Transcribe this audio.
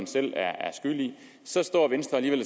selv er skyld i så står venstre alligevel